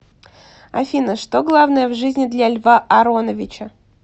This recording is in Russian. афина что главное в жизни для льва ароновича